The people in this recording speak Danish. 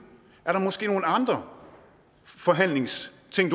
er der måske nogle andre forhandlingsting